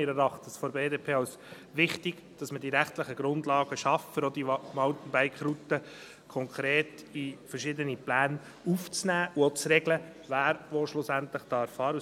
Wir von der BDP erachten es als wichtig, dass man die rechtlichen Grundlagen schafft, um auch diese Mountainbike-Routen konkret in verschiedene Pläne aufzunehmen und auch zu regeln, wer schlussendlich wo fahren darf.